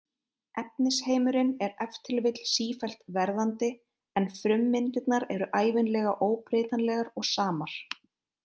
Efnisheimurinn er ef til vill sífellt verðandi en frummyndirnar eru ævinlega óbreytanlegar og samar.